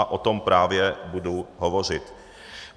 A o tom právě budu hovořit.